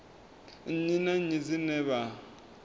nnyi na nnyi dzine vha